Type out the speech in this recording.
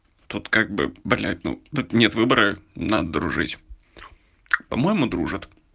тут как бы блять ну тут нет выбора надо дружить по-моему дружат